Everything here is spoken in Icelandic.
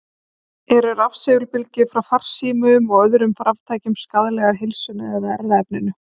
Eru rafsegulbylgjur frá farsímum og öðrum raftækjum skaðlegar heilsunni eða erfðaefninu?